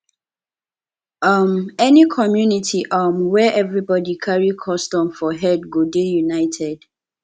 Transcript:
um any community um where everybodi carry custom for head go dey united